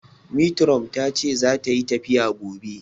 Metiron tace zata yi tafiya gobe